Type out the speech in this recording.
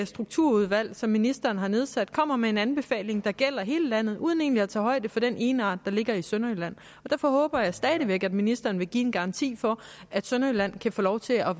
strukturudvalg som ministeren har nedsat kommer med en anbefaling der gælder hele landet uden egentlig at tage højde for den egenart der er i sønderjylland og derfor håber jeg stadig væk at ministeren vil give en garanti for at sønderjylland kan få lov til at